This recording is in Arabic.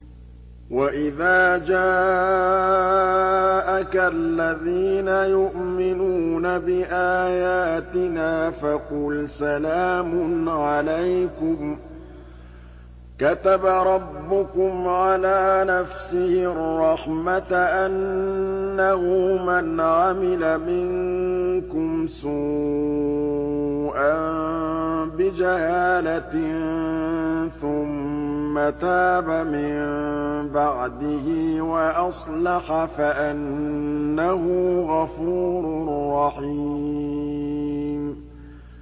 وَإِذَا جَاءَكَ الَّذِينَ يُؤْمِنُونَ بِآيَاتِنَا فَقُلْ سَلَامٌ عَلَيْكُمْ ۖ كَتَبَ رَبُّكُمْ عَلَىٰ نَفْسِهِ الرَّحْمَةَ ۖ أَنَّهُ مَنْ عَمِلَ مِنكُمْ سُوءًا بِجَهَالَةٍ ثُمَّ تَابَ مِن بَعْدِهِ وَأَصْلَحَ فَأَنَّهُ غَفُورٌ رَّحِيمٌ